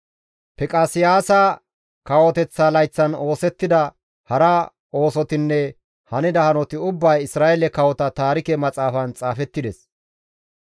Fiqaseyaasa kawoteththa layththan oosettida hara oosotinne hanida hanoti ubbay Isra7eele kawota taarike maxaafan xaafettides.